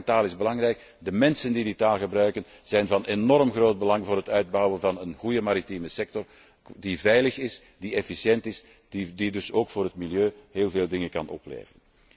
Het gebruik van taal is belangrijk, de mensen die die taal gebruiken zijn van enorm groot belang voor het uitbouwen van een goede maritieme sector die veilig is, die efficiënt is en die dus ook voor het milieu heel veel dingen kan opleveren.